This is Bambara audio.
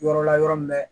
Yɔrɔ la yɔrɔ min na